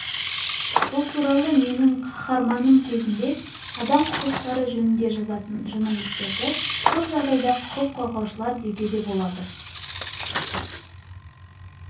бұл туралы менің қаһарманым кезінде адам құқықтары жөнінде жазатын журналистерді көп жағдайда құқық қорғаушылар деуге де болады